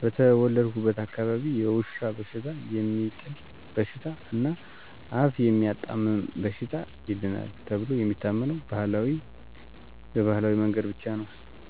በተወለድኩበት አካባቢ የውሻ በሽታ፣ የሚጥል በሽታ እና አፍ የሚያጣምም በሽታ ይድናል ተብሎ የሚታመነው በባህላዊ መንገድ ብቻ ነው።